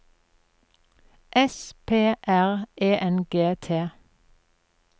S P R E N G T